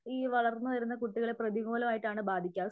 ഈ വളർന്നു വരുന്ന കുട്ടികളെ പ്രതികൂലമായിട്ടാണ് ബാധിക്യാ